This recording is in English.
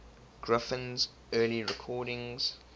griffin's early recordings